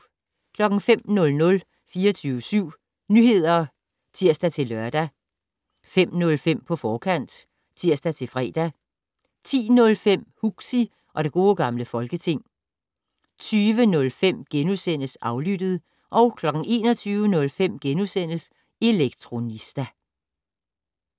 05:00: 24syv Nyheder (tir-lør) 05:05: På forkant (tir-fre) 10:05: Huxi og det Gode Gamle Folketing 20:05: Aflyttet * 21:05: Elektronista *